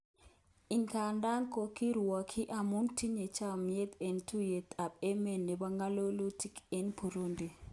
Ingandan kokirwokyi amun tinye chamet eng tuyet ab emet nebo ngololutik eng Burundi.